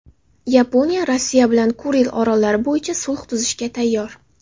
Yaponiya Rossiya bilan Kuril orollari bo‘yicha sulh tuzishga tayyor.